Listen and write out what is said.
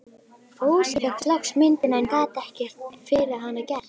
Fúsi fékk loks myndina, en gat ekkert fyrir hana gert.